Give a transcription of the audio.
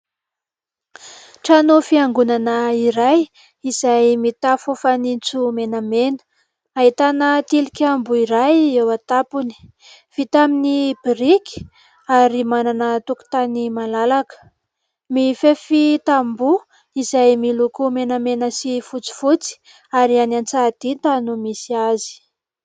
Trano fiangonana iray izay mitafo fanitso menamena. Ahitana tilikambo iray eo an-tampony. Vita amin'ny biriky ary manana tokotany malalaka, mifefy tamboho izay miloko menamena sy fotsifotsy ary any Antsahadinta no misy azy.